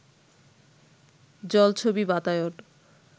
জলছবি বাতায়ন